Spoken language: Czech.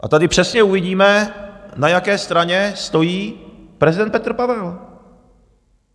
A tady přesně uvidíme, na jaké straně stojí prezident Petr Pavel.